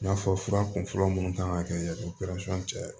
N y'a fɔ fura kun fɔlɔ munnu kan ka kɛ o cɛ ye